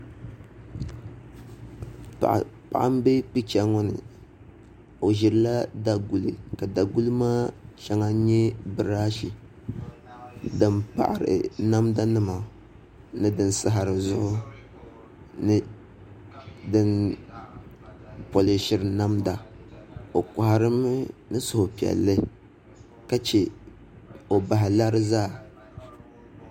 Paɣa n bɛ picha ŋo ni o ʒirila daguli ka daguli maa shɛŋa nyɛ birash din paɣari namda nima ni din saɣari zuɣu ni din polishiri namda o koharimi ni suhupiɛlli ka chɛ o bahi lari zaa